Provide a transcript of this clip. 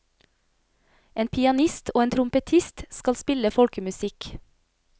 En pianist og en trompetist skal spille folkemusikk.